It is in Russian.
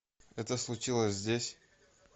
это случилось здесь